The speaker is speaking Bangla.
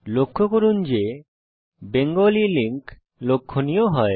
লক্ষ্য করুন যে বেঙ্গালি লিঙ্ক লক্ষনীয় হয়